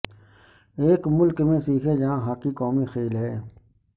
ایک ملک میں سیکھیں جہاں ہاکی قومی کھیل ہے